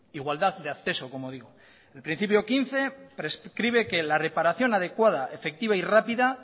igualdad de acceso como digo el principio quince prescribe que la reparación adecuada efectiva y rápida